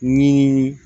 Ni